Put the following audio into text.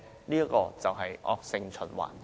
這就是惡性循環。